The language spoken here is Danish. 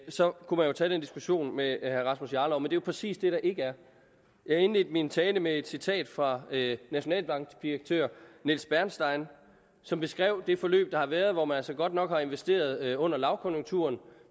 så kunne man jo tage den diskussion med herre rasmus jarlov men jo præcis det der ikke er jeg indledte min tale med et citat fra nationalbankdirektør nils bernstein som beskrev det forløb der har været hvor man altså godt nok har investeret under lavkonjunkturen